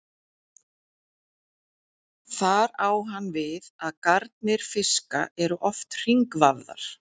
Þar á hann við að garnir fiska eru oft hringvafðar.